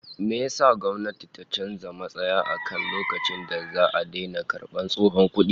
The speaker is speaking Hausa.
Me yasa gwamnayti ta canza matsaya akan lokacin da za'a daina karbar tsohon kudi?